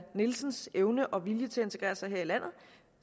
nielsens evne og vilje til at integrere sig her i landet